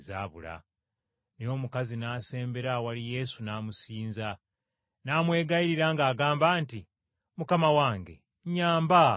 Naye omukazi n’asembera awali Yesu n’amusinza, n’amwegayirira ng’agamba nti, “Mukama wange, nnyamba.”